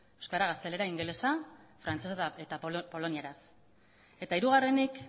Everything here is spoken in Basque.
euskara gaztelera ingelesa frantsesa eta polonieraz eta hirugarrenik